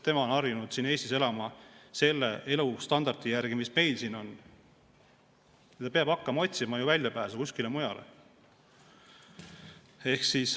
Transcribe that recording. Tema on harjunud Eestis elama selle elustandardi järgi, mis meil siin on, ja ta peab hakkama otsima väljapääsu kuskile mujale minnes.